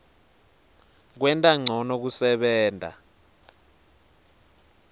kwenta ncono kusebenta